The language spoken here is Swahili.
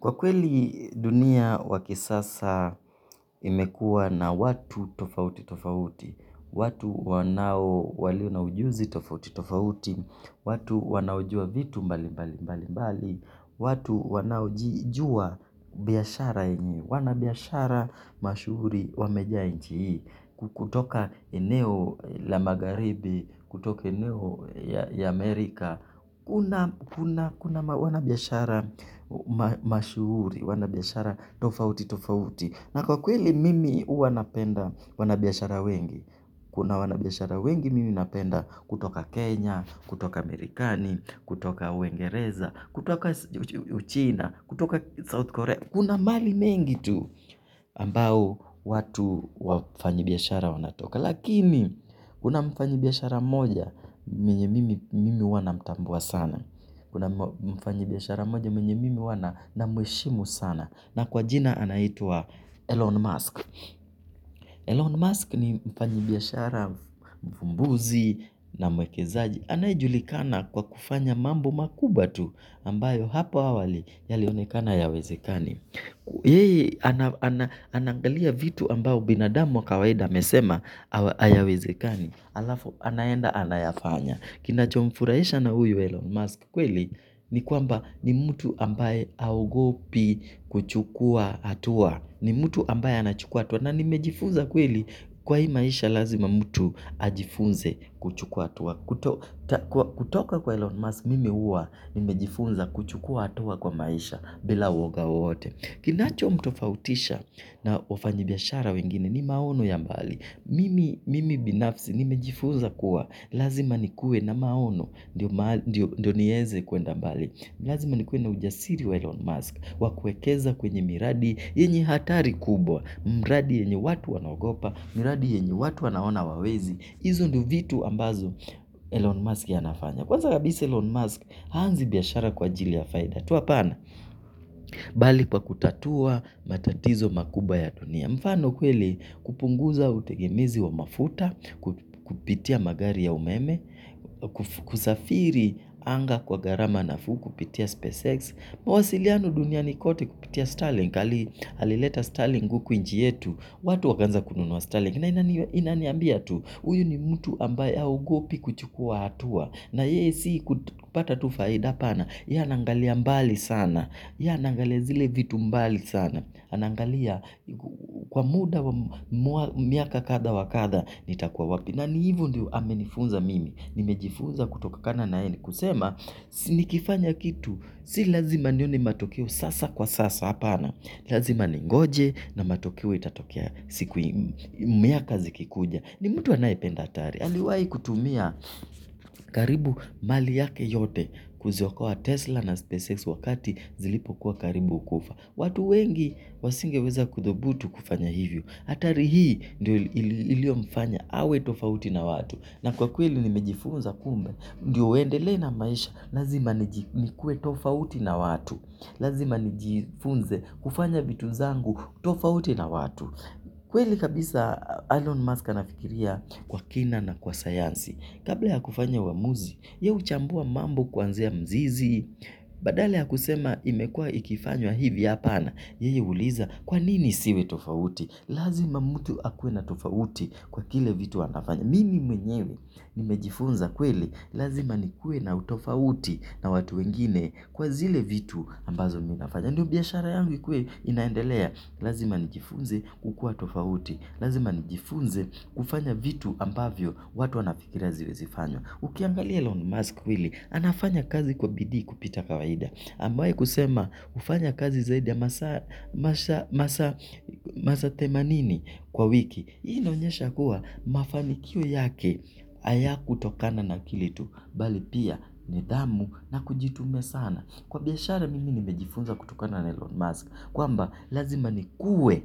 Kwa kweli dunia wa kisasa imekua na watu tofauti tofauti, watu wanao walio na ujuzi tofauti tofauti, watu wanaojua vitu mbali mbali mbali mbali, watu wanaojijua biashara ini, wanabiashara mashuhuri wameja nchi hii, kutoka eneo la magharibi, kutoka eneo ya Amerika. Kuna wanabiashara mashuhuri, wanabiashara tofauti tofauti. Na kwa kweli mimi uwanapenda wanabiashara wengi. Kuna wanabiashara wengi mimi napenda kutoka Kenya, kutoka Amerikani, kutoka uingereza, kutoka Uchina, kutoka South Korea. Kuna mali mengi tu ambao watu wafanyi biashara wanatoka. Lakini kuna mfanyi biashara mmoja menye mimi uwa namtambua sana. Kuna mfanyi biashara moja menye mimi uwa namheshimu sana. Na kwa jina anaitwa Elon Musk Elon Musk ni mfanyi biashara mvumbuzi na mwekezaji anayejulikana kwa kufanya mambo makubwa tu ambayo hapo awali yalionekana yawezekani yeye anaangalia vitu ambao binadamu kawaida amesema hayawezekani alafu anaenda anayafanya kinachomfuraisha na huyu Elon Musk kweli ni kwamba ni mtu ambaye aogopi kuchukua atua ni mtu ambaye anachukua atua na nimejifunza kweli kwa hii maisha lazima mtu ajifunze kuchukua atua kutoka kwa Elon Musk mimi uwa nimejifunza kuchukua atua kwa maisha bila uoga wowote. Kinacho mtofautisha na wafanyi biashara wengine ni maono ya mbali. Mimi binafsi nimejifuza kuwa lazima nikue na maono ndiyo nieze kuenda mbali. Lazima nikue na ujasiri wa Elon Musk wakuekeza kwenye miradi yenye hatari kubwa. Mradi yenye watu wanagopa, miradi yenye watu wanaona wawezi. Izo ndo vitu ambazo Elon Musk ya anafanya. Kwanza kabisa Elon Musk haanzi biashara kwa ajili ya faida tu apana. Bali kwa kutatua matatizo makubwa ya dunia. Mfano kweli kupunguza utegemezi wa mafuta. Kupitia magari ya umeme. Kusafiri anga kwa garama na fuku. Kupitia SpaceX. Mawasiliano duniani kote kupitia Starlink. Alileta Starlink uku nchi yetu. Watu wakaanza kununua Starlink. Na inaniambia tu, uyu ni mtu ambaye haogopi kuchukua hatua. Na yeye si kupata tu faida apana ye anangalia mbali sana ye anangalia zile vitu mbali sana. Anangalia kwa muda wa miaka kadha wa kadha nitakuwa wapi. Na ni hivo ndio amenifunza mimi. Nimejifunza kutoka kana na hee ni kusema. Ni kifanya kitu, si lazima nione matokeo sasa kwa sasa apana. Lazima ningoje na matokeo itatokea siku miaka zikikuja. Ni mtu anayependa atari. Aliwai kutumia karibu mali yake yote kuziokoa Tesla na SpaceX wakati zilipo kuwa karibu kufa. Watu wengi wasingeweza kudhobutu kufanya hivyo. Atari hii ilio mfanya. Awe tofauti na watu. Na kwa kweli nimejifunza kumbe, ndio uendele na maisha, lazima nikue tofauti na watu. Lazima nijifunze kufanya vitu zangu tofauti na watu. Kweli kabisa Elon Musk anafikiria kwa kina na kwa sayansi. Kabla ya kufanya uamuzi, ye uchambua mambo kwanzia mzizi, badala ya kusema imekua ikifanywa hivi apana. Yeye huuliza kwa nini isiwe tofauti. Lazima mtu akue na tofauti kwa kile vitu anafanya. Mimi mwenyewe nimejifunza kweli, lazima nikue na utofauti na watu wengine kwa zile vitu ambazo mi nafanya. Ndio biashara yangu ikue inaendelea, lazima nijifunze kukua tofauti, lazima nijifunze kufanya vitu ambavyo watu wanafikiria aziwezifanywa. Ukiangalia Elon Musk kweli, anafanya kazi kwa bidii kupita kawaida. Amewai kusema ufanya kazi zaidi ya masa themanini kwa wiki. Hii inaonyesha kuwa mafanikio yake hayakutokana na akili tu, bali pia nidhamu na kujitume sana. Kwa biashara mimi nimejifunza kutokana na Elon Musk, kwamba lazima nikue